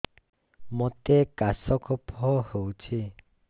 ମୋତେ କାଶ କଫ ହଉଚି